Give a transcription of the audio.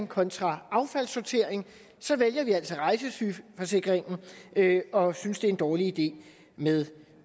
kontra affaldssortering vælger vi altså rejsesygeforsikringen og synes det er en dårlig idé med